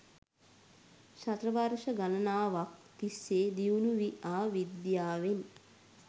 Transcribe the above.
ශතවර්ශ ගණනාවක් තිස්සේ දියුණු වී ආ විද්‍යාවෙන්